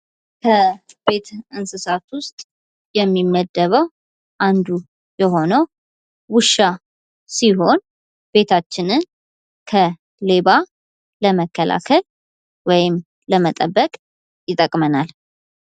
ከቤት እንስሳት ውስጥ የሚመደበው አንዱ የሆነው ውሻ ሲሆን ቤታችንን ከሌባ ለመከላከል ወይም ለመጠበቅ ይጠቅመናል::